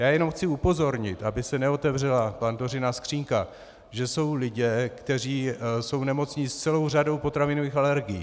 Já jenom chci upozornit, aby se neotevřela Pandořina skříňka, že jsou lidé, kteří jsou nemocní s celou řadou potravinových alergií.